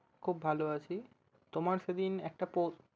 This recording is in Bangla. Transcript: খুব ভাল আছি। তোমার সেদিন একটা পো~